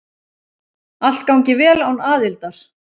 Allt gangi vel án aðildar.